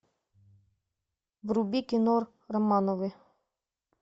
вруби кино романовы